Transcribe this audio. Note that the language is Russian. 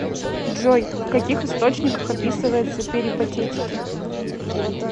джой в каких источниках описывается перипатетики